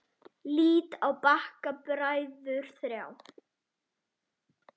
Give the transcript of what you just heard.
Lít á Bakka bræður þrjá.